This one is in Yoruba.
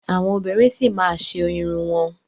Àwọn obìnrin sì ma máa ṣe orin wọn.